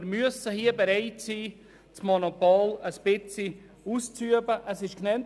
Wir müssen hier bereit sein, das Monopol etwas auszuweiten.